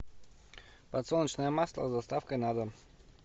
подсолнечное масло с доставкой на дом